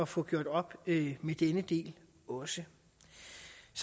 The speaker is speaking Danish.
få gjort op med denne del også